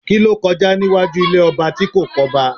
Kí ló kọjá níwájú ilé ọba tí kò kọ́ba?